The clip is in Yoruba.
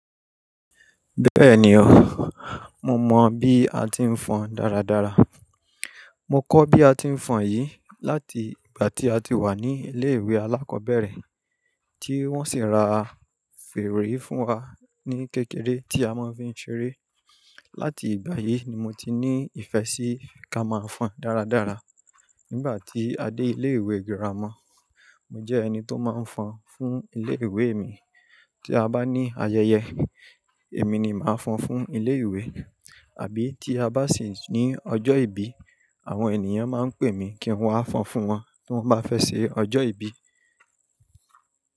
Bẹ́ẹ̀ni o, mo mọ bí a ti ń fọn dáradára. Mo kọ́ bí a ti ń fọn yìí láti ìgbà tí a ti wà ní ilé ìwé alákọ̀ọ́bẹ̀rẹ̀, tí wọ́n sì ra fèrè fún wa ní kékeré tí a máa fi ń ṣeré. Láti ìgbà yìí ni mo ti ní ìfẹ́ sí ká máa fọn dáradára. Nígbà tí a dé ilé ìwé girama, mo jẹ́ ẹni tó máa ń fọn fún ilé ìwé mi. Tí a bá ní ayẹyẹ, èmi ni màá fọn fún ilé ìwé àbí tí a bá sì ní ọjọ́ ìbí, àwọn ènìyàn máa ń pè mi kí n wá fọn fún wọn tí wọ́n bá fẹ́ ṣe ọjọ́ ìbí.